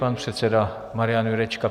Pan předseda Marian Jurečka.